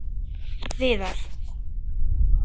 Viðar